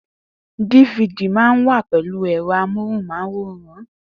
Difidi mà ń wà pẹlu èrò móhùn máwòrán